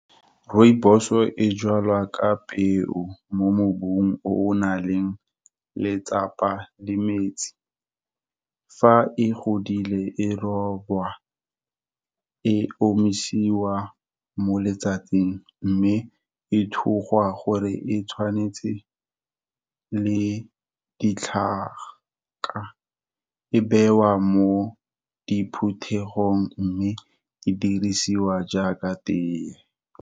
Rooibos-o e jalwa ka peo, mo mobung o o nang le letsapa le metsi. Fa e godile, e rojwa, e omisiwa mo letsatsing, mme e thugwa gore e tshwanetse le ditlhaka, e bewa mo diphuthegong. Mme e dirisiwa jaaka teye.